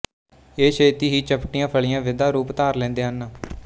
ਇਹ ਛੇਤੀ ਹੀ ਚਪਟੀਆਂ ਫਲ਼ੀਆਂ ਵਿਦਾ ਰੂਪ ਧਾਰ ਲੈਂਦੇ ਹਨ